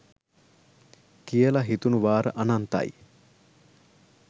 කියලා හිතුනු වාර අනන්තයි